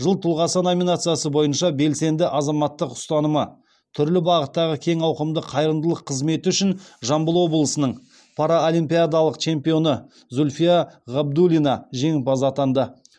жыл тұлғасы номинациясы бойынша белсенді азаматтық ұстанымы түрлі бағыттағы кең ауқымды қайырымдылық қызметі үшін жамбыл облысының паралимпиадалық чемпионы зүльфия ғабидуллина жеңімпаз атанды